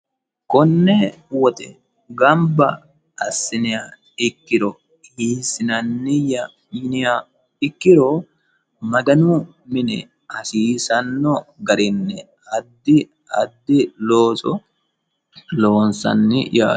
konne woxe gamba assiniya ikkiro hiisinanniyya yiniya ikkiro maganu mine hasiisanno garinne addi addi looso lowonsanni yaate.